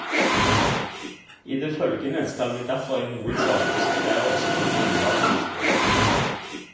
I det følgende skal vi derfor i hovedsak konsentrere oss om ullvareindustrien.